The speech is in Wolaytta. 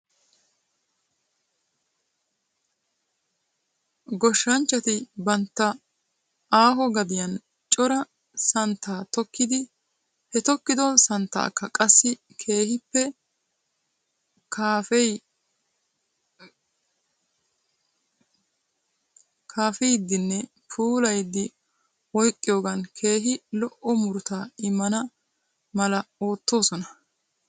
Goshshanchchati bantta aaho gadiyan cora samttaa tokkidi he tokkido santaaka qassi keehippe kaafeyidinne puulayidi oyqqiyoogan keehi lo'o murutaa immana mala ootoosona.